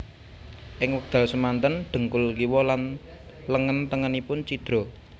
Ing wekdal semanten dhengkul kiwa lan lengen tengenipun cidra